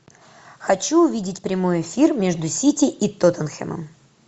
хочу увидеть прямой эфир между сити и тоттенхэмом